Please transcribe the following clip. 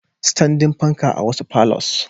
Standing panka a wasu palours.